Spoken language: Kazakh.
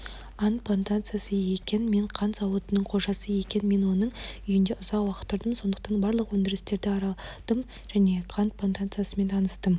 ант плантациясы мен қант зауытының қожасы екен мен оның үйінде ұзақ уақыт тұрдым сондықтан барлық өндірістерді араладым және қант плантациясымен таныстым